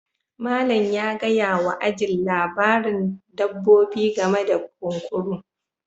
Malam ya gaya wa ajin labarin dabbobi game da kunkuru